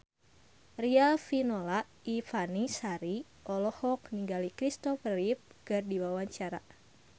Riafinola Ifani Sari olohok ningali Christopher Reeve keur diwawancara